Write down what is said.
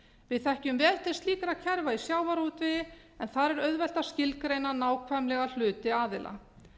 við þekkjum vel til slíkra kerfa í sjávarútvegi en þar er auðvelt að skilgreina nákvæmlega hluti aðila